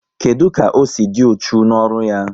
Kedụ ka o si dị uchu n'ọrụ ya?